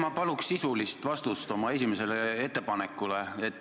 Ma palun sisulist vastust oma esimesele ettepanekule.